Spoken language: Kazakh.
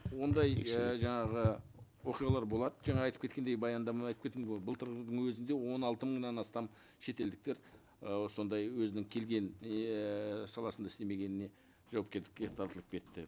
ондай і жаңағы оқиғалар болады жаңа айтып кеткендей баяндамада айтып кеттім ғой былтырдың өзінде он алты мыңнан астам шетелдіктер ы сондай өзінің келгенін еее саласында істемегеніне тартылып кетті